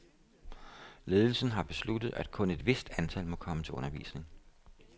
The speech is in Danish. Ledelsen har besluttet, at kun et vist antal må komme til undervisning.